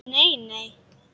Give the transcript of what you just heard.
Nei, nei, nei!